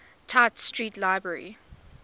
tite street library